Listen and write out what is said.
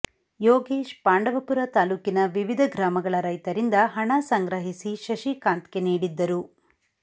ಯೋಗೇಶ್ ಪಾಂಡವಪುರ ತಾಲೂಕಿನ ವಿವಿಧ ಗ್ರಾಮಗಳ ರೈತರಿಂದ ಹಣ ಸಂಗ್ರಹಿಸಿ ಶಶಿಕಾಂತ್ ಗೆ ನೀಡಿದ್ದರು